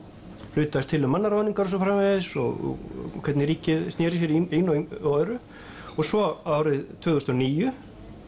hlutaðist til um mannaráðningar og svo framvegis og hvernig ríkið snéri sér í einu og öðru og svo árið tvö þúsund og níu